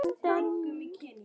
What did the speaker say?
Ertu eitthvað að spila þar?